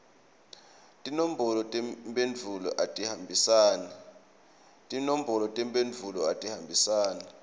tinombolo tetimphendvulo atihambisane